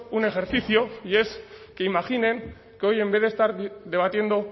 un ejercicio y es que imaginen que hoy en vez de estar debatiendo